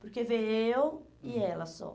Porque veio eu e ela só.